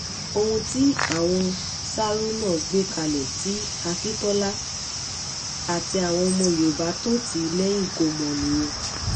ohun tí àwọn sarùnà gbé kalẹ̀ tí akintola àti àwọn ọmọ yorùbá tó tì í lẹ́yìn kò mọ̀ nìyẹn